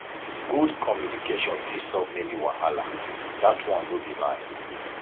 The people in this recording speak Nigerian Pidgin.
good communication fit solve many wahala dat one no be lie